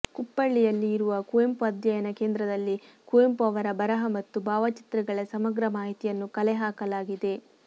ಕುಪ್ಪಳ್ಳಿಯಲ್ಲಿ ಇರುವ ಕುವೆಂಪು ಅಧ್ಯಯನ ಕೇಂದ್ರದಲ್ಲಿ ಕುವೆಂಪು ಅವರ ಬರಹ ಮತ್ತು ಭಾವಚಿತ್ರಗಳ ಸಮಗ್ರ ಮಾಹಿತಿಯನ್ನು ಕಲೆಹಾಕಲಾಗಿದೆ